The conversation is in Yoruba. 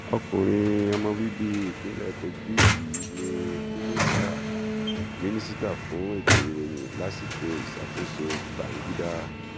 ọkùnrin ọmọ bíbí ìpínlẹ kogi yìí ní mínísítà mínísítà fún ètò ìròyìn lásìkò ìṣàkóso bangida